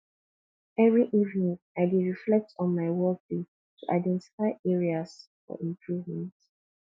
every evening i dey reflect on my workday to identify areas for improvement